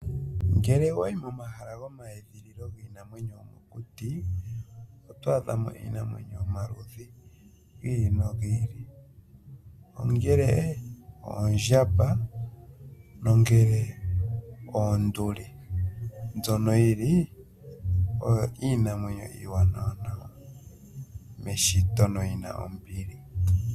Ngele wayi momahala go mayedhililo giinamwenyo oto adha mo iinamwenyo yomaludhi gili nogi ili ,ongele oondjamba, nongele oonduli mbyono yili oyo iinamwenyo iiwanawa meshito noyina ombili.